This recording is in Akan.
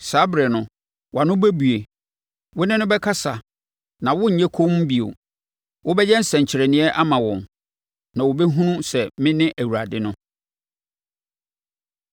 Saa ɛberɛ no, wʼano bɛbue, wo ne no bɛkasa na worennyɛ komm bio. Wobɛyɛ nsɛnkyerɛnneɛ ama wɔn, na wɔbɛhunu sɛ mene Awurade no.”